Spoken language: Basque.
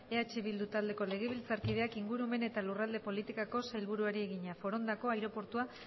eh bildu taldeko legebiltzarkideak ingurumen eta lurralde politikako sailburuari egina forondako aireportua